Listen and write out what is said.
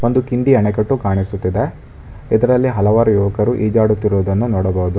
ಒಂದು ಕಿಂಡಿ ಅಣೆಕಟ್ಟು ಕಾಣಿಸುತ್ತಿದೆ ಇದರಲ್ಲಿ ಹಲವಾರು ಯುವಕರು ಈಜಾಡುತ್ತಿರುವುದನ್ನು ನೋಡಬಹುದು.